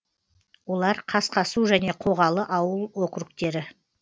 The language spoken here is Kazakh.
олар қасқасу және қоғалы ауыл округтері